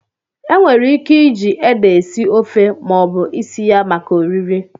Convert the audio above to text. Enwere ike iji ede esi ofe ma ọ bụ isi ya maka oriri.